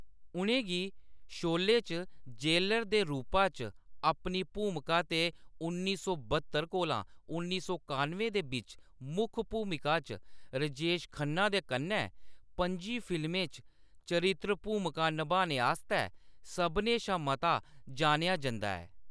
उʼनें गी शोले च जेलर दे रूपा च अपनी भूमिका ते उन्नी सौ ब्हत्तर कोला उन्नी सौ कानुएं दे बिच्च मुक्ख भूमिका च राजेश खन्ना दे कन्नै पंजी फिल्में च चरित्र भूमिकां निभाने आस्तै सभनें शा मता जानेआ जंदा ऐ।